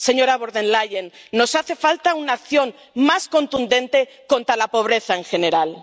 Señora von der Leyen, nos hace falta una acción más contundente contra la pobreza en general.